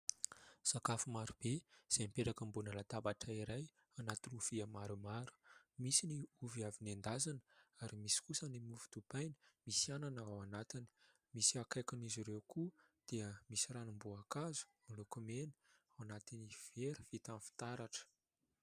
Sakafo marobe izay mipetraka ambonina latabatra iray, anaty lovia maromaro. Misy ny ovy avy nendasina ary misy kosa ny mofo dipaina, misy anana ao anatiny. Misy akaikin'izy ireo koa dia misy ranom-boankazo, miloko mena ao anaty vera vita amin'ny fitaratra.